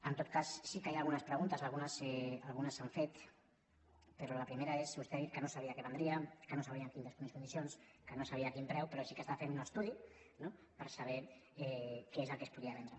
en tot cas sí que hi ha algunes preguntes algunes s’han fet però la primera és vostè ha dit que no sabia què vendria que no sabrien en quines condicions que no sabia a quin preu però sí que està fent un estudi no per saber què és el que es podria vendre